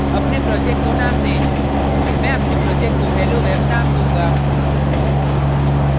अपने project को name दें मैं अपने project को helloweb name दूँगा